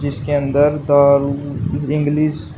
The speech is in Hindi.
इसके अंदर दारू इंग्लिश --